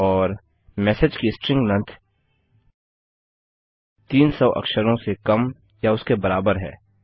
और मेसेज की string length 300 अक्षरों से कम या उसके बराबर है